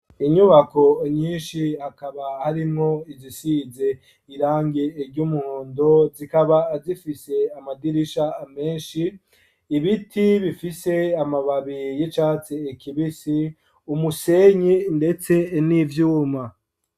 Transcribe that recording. Inyubako nyinshi akaba harimwo izisize irangi ry'umuhondo zikaba zifise amadirisha menshi, ibiti bifise amababi y'icatsi kibisi umusenyi ndetse n'ivyuma.